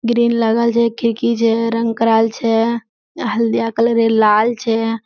ग्रील लगल छै खिड़की छै रंग कराएल छै हलदिया कलर लाल छै।